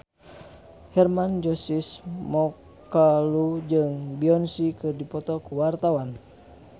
Hermann Josis Mokalu jeung Beyonce keur dipoto ku wartawan